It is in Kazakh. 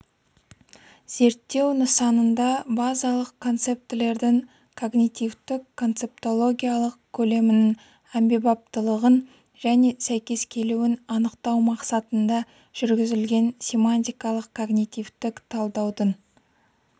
зерттеу нысанында базалық концептілердің когнитивтік-концептологиялық көлемінің әмбебаптылығын және сәйкес келуін анықтау мақсатында жүргізілген семантикалық-когнитивтік талдаудың